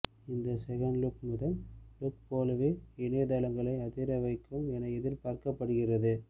இந்த செகண்ட்லுக் முதல் லுக் போலவே இணையதளங்களை அதிர வைக்கும் என எதிர்பார்க்கப்படுகிறது